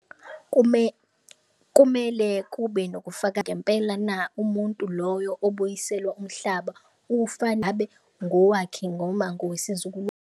Kumele kube nokufaka ngempela na umuntu loyo obuyiselwa umhlaba ufana ngowakhe ngoma .